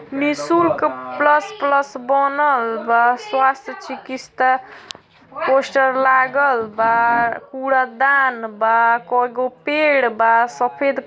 निशुल्क plus plus बनल बा स्वास्थ चिकिस्ता पोस्टर लागल बा कूड़ादान बा कई गो पेड़ बा सफ़ेद --